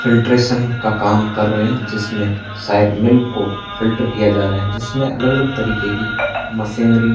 filtration का काम कर रहे हैं जिसमें शायद मिल्क को फिल्टर किया जा रहा हैं जिसमें अलग-अलग तरीके की मशीनरी --